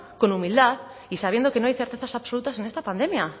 con humildad y sabiendo que no hay certezas absolutas en esta pandemia